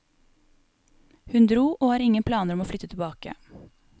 Hun dro og har ingen planer om å flytte tilbake.